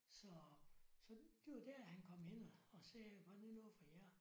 Så så det var der han kom hen og og sagde var det noget for jer